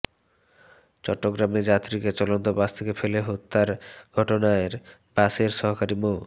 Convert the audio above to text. চট্টগ্রামে যাত্রীকে চলন্ত বাস থেকে ফেলে হত্যার ঘটনায় বাসের সহকারী মো